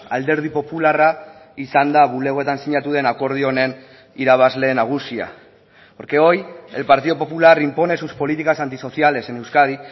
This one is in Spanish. alderdi popularra izan da bulegoetan sinatu den akordio honen irabazle nagusia porque hoy el partido popular impone sus políticas antisociales en euskadi